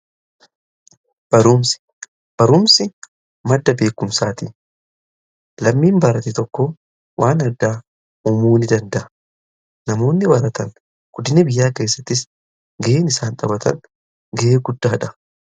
barumsa, barumsi madda beekumsaatii lammiin baarate tokko waan addaa umuu ni danda'a. namoonni baaratan guddina biyyaa keessattis ga'een isaan taphatan ga'ee guddaadha.